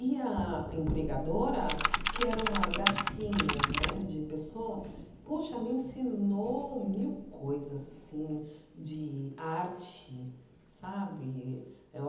E a empregadora, que era uma gracinha né de pessoa, poxa me ensinou mil coisas assim de arte, sabe?